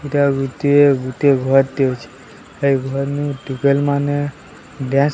ଇଟା ଗୁଟିଏ ଗୁଟିଏ ଘର୍ ଟେ ଅଛି ଏଇ ଘର୍ ନୁ ଟୁକେଲ ମାନେ ଡ୍ଯାନ୍ସ --